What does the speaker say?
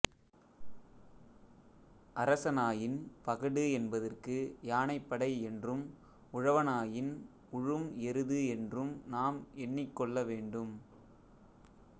அரசனாயின் பகடு என்பதற்கு யானைப்படை என்றும் உழவனாயின் உழும் எருது என்றும் நாம் எண்ணிக்கொள்ள வேண்டும்